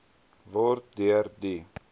word deur die